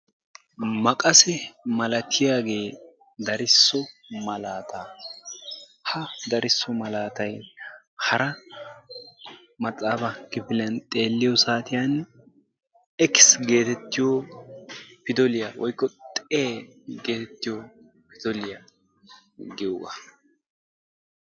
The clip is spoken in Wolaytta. Maqase malatiyaagee darsso malaataa. Ha darisso malaatay hara maxaafaa kifiliyaan xeelliyoo saatiyaan ekis getettiyoo pidaliyaa woykko xee getettiyoo zooriyaa giyoogaa.